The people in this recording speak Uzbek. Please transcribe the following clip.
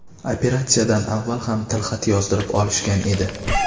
Operatsiyadan avval ham tilxat yozdirib olishgan edi.